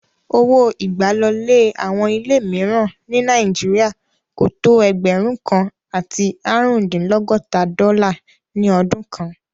Owó ìgbàlọlé àwọn ilé míìràn ní Nàíjírìà kò tó ẹgbẹ̀rún kan àti áàrúndínlọ́gọta dọ́là ní ọdún kan